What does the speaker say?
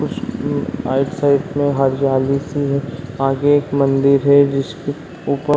कुछ उम आइड साइड में हरयाली सी है आगे एक मंदिर है जिसपे ऊपर --